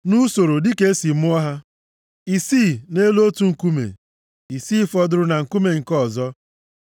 nʼusoro dịka e si mụọ ha, isii nʼelu otu nkume, isii fọdụrụ na nkume nke ọzọ.